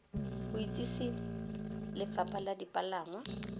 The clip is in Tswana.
go itsise lefapha la dipalangwa